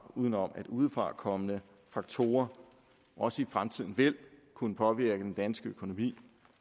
uden om at udefrakommende faktorer også i fremtiden vil kunne påvirke den danske økonomi